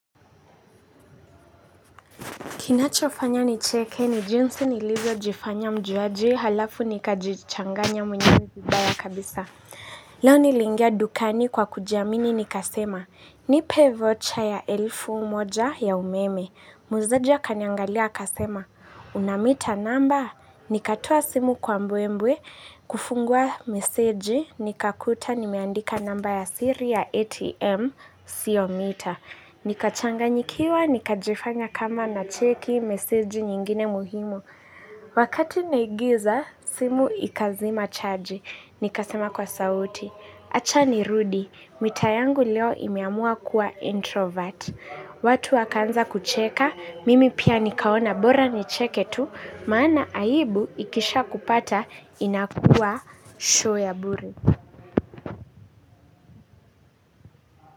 Kinachofanya nicheke ni jinsi nilivyo jifanya mjuaji halafu nikajichanganya mwenyewe vibaya kabisa. Leo niliingia dukani kwa kujiamini nikasema. Nipee vocha ya elfu moja ya umeme. Muuzaji akaniangalia akasema. Unamita namba? Nikatoa simu kwa mbwe mbwe. Kufungua meseji nikakuta nimeandika namba ya siri ya ATM siyo mita. Nikachanganyikiwa, nikajifanya kama nacheki, meseji nyingine muhimu. Wakati naigiza, simu ikazima chaji. Nikasema kwa sauti acha nirudi, mita yangu leo imeamua kuwa introvert. Watu wakaanza kucheka, mimi pia nikaona bora nicheke tu maana aibu ikishakupata inakuwa show ya bure.